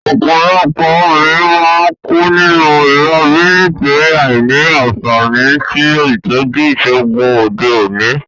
Òpòlopò obìnrin má n kú nínú ìrobí nítorí àìní ànfàní sí ìtójú ìsègùn òde òní